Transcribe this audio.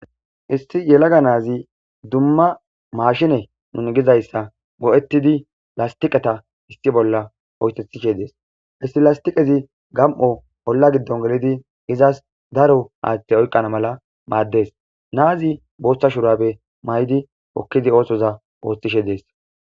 Issi yelaga naazi dumma maashine nuni gizayssa go,ettidi lastiqeta issi bolla hoytethishe dees isti lastiqezi gam,o bolla giddon gelidi izas daro aaththe oyqqana mala maaddes naazi booshtha shurabe may.di okkidi oosoza ooththishe dees.